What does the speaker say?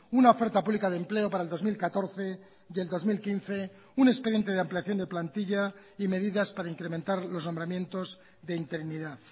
una oferta pública de empleo para el dos mil catorce y el dos mil quince un expediente de ampliación de plantilla y medidas para incrementar los nombramientos de interinidad